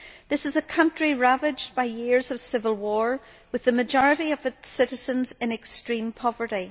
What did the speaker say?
This is a country ravaged by years of civil war with the majority of its citizens in extreme poverty.